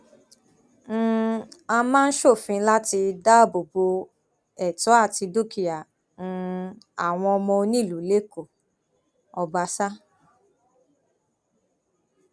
um a máa ṣòfin láti dáàbò bo ẹtọ àti dúkìá um àwọn ọmọ onílùú lẹkọọ ọbaṣà